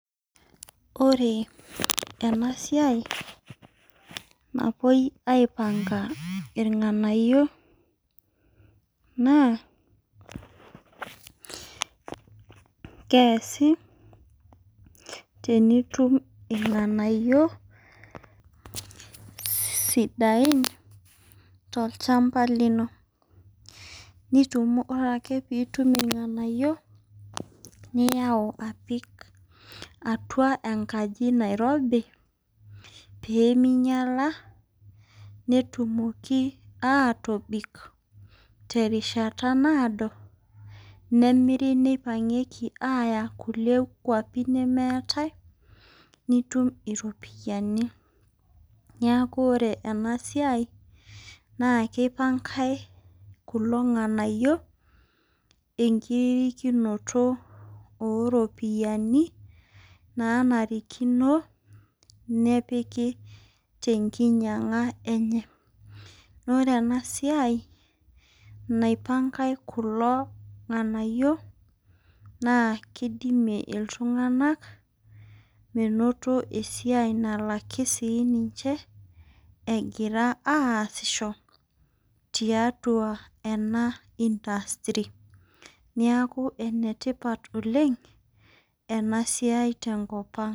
Ore enasiai na enapuoi aipanga irng'anayio na keasi tenitum irng'anayio sidain tolchamba lino ore ake pitum irng'anayio niyau apik atua enkaji nairobi peminyala netumoki atoton tenkata naado nemiri aya kulie kwapi nemeetai nitum iropiyani neakubore enasia na kipangae kulo ng'anayio enkirikinoto oropiyiani naanarikino nepiki tenkinyang'a enye na ore enasia naipangae irng'anayio na kidimie ltun'ganak menoto esiai nalaki ninche egira aasisho tiatua ena industry neaku enetipat oleng' enasiai tenkop aang'.